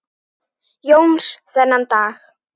Jóns þennan dag.